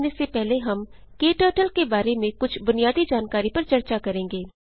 आगे बढ़ने से पहले हम क्टर्टल के बारे में कुछ बुनियादी जानकारी पर चर्चा करेंगे